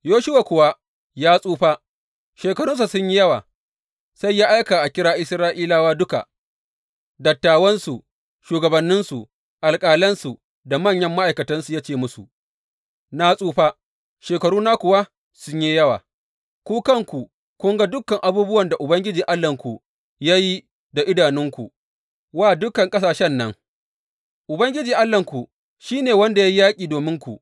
Yoshuwa kuwa ya tsufa, shekarunsa sun yi yawa, sai ya aika a kira Isra’ilawa duka, dattawansu, shugabanninsu, alƙalansu, da manyan ma’aikatansu, ya ce musu, Na tsufa, shekaruna kuwa sun yi yawa, ku kanku kun ga dukan abubuwan da Ubangiji Allahnku ya yi da idanunku wa dukan ƙasashen nan, Ubangiji Allahnku shi ne wanda ya yi yaƙi dominku.